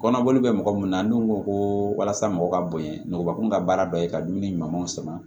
Kɔnɔboli bɛ mɔgɔ mun na n'u ko ko walasa mɔgɔ ka bonya nɔgɔba kun ka baara dɔ ye ka dumuni ɲumanw sama